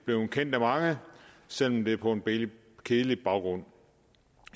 blevet kendt af mange selv om det er på en kedelig baggrund